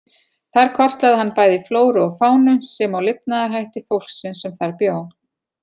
Þar kortlagði hann bæði flóru og fánu, sem og lifnaðarhætti fólksins sem þar bjó.